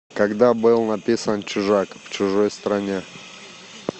когда был написан чужак в чужой стране